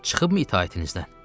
Çıxıbmı itaətinizdən?